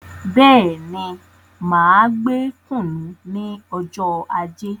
Bẹ́ẹ̀ni, máa gbé kùnú ní ọjọ ajé